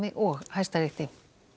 og Hæstarétti